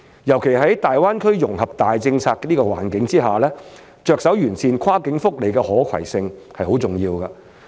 尤其在大灣區融合的大政策環境之下，着手完善跨境福利的可攜性是很重要的。